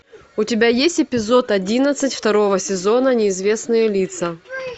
у тебя есть эпизод одиннадцать второго сезона неизвестные лица